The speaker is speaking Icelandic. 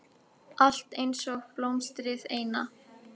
Allt einsog blómstrið eina.